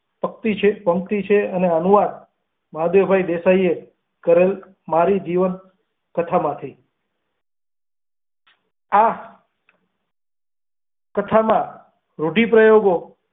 પંક્તિ છે પંક્તિ છે અને અનુવાદ માધવ ભાઈ દેસાઈ એ કરેલ મારી જીવન કથા માંથી આ કથા માં રુઢિપ્રયોગો.